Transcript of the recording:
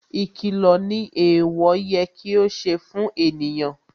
Ìkìlọ̀ ni ẹ̀ẹ̀wọ̀ yẹ kí ó ṣe fún ènìyàn